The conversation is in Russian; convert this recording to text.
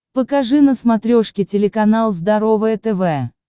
покажи на смотрешке телеканал здоровое тв